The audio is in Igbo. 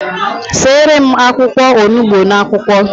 Seere m akwụkwọ onugbu n'akwukwo